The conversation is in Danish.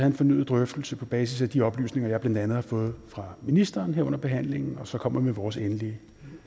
en fornyet drøftelse på basis af de oplysninger jeg blandt andet har fået fra ministeren her under behandlingen og så kommer med vores endelige